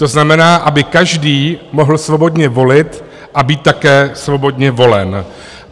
To znamená, aby každý mohl svobodně volit a být také svobodně volen.